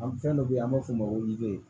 An fɛn dɔ be yen an b'a f'o ma ko deyi